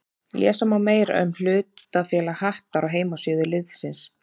Lesa má meira um hlutafélag Hattar á heimasíðu liðsins.